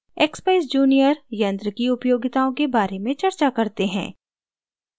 expeyes junior यंत्र की उपयोगिताओं के बारे में चर्चा करते हैं